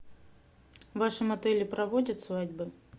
в вашем отеле проводят свадьбы